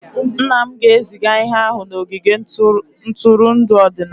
Nna m ga-eziga ihe ahụ n'ogige ntụrụndụ ọdịnala.